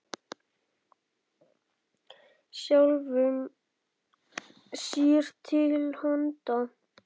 Sjálfum sér til handa.